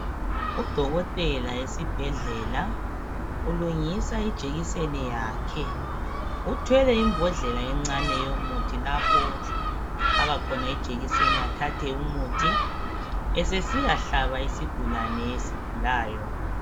u dokotela esibhedlela ulungisa jekiseni yakhe uthwele imbodlela encane yomuthi lapho afaka khona ijekiseni athathe umuthi esesiyahlaba isigulane esigulayo